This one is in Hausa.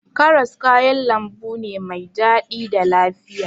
Karas kayan lambu ne mai daɗi da lafiya.